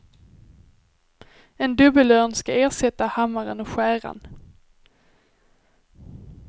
En dubbelörn ska ersätta hammaren och skäran.